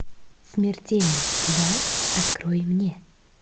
смертельный удар открой мне